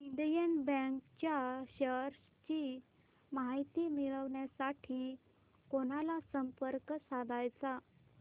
Indian bank च्या shares ची माहिती मिळविण्यासाठी कोणाला संपर्क साधायचा